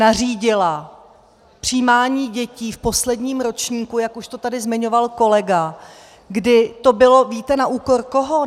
Nařídila přijímání dětí v posledním ročníku, jak už to tady zmiňoval kolega - kdy to bylo, víte na úkor koho?